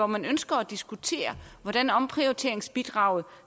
man ønsker at diskutere hvordan omprioriteringsbidraget